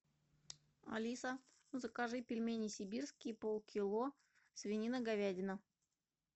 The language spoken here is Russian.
алиса закажи пельмени сибирские полкило свинина говядина